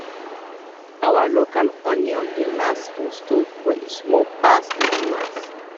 our local onion dey last for store but e small pass the new ones